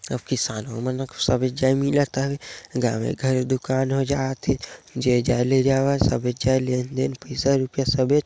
अब किसानों मन ह सबे जय मिलत हवे गावे घरे दुकान हो जाथे जे जाले जात हे सब लेन देन रुपया पैसा सबे--